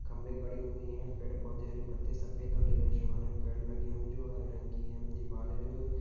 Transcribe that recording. खंबे गाडे हुई हे पेड़ पौधे हरी पत्ती सफेद और नीले आसमान हे पेड़ लागि हुई जो हारे रंग की हे दीवाल हे जो --